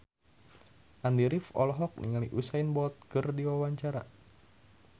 Andy rif olohok ningali Usain Bolt keur diwawancara